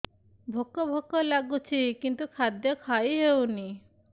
ଭୋକ ଭୋକ ଲାଗୁଛି କିନ୍ତୁ ଖାଦ୍ୟ ଖାଇ ହେଉନି